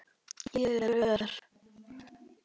Ég geri ör